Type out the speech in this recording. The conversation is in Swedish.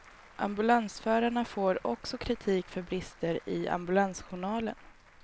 Ambulansförarna får också kritik för brister i ambulansjournalen.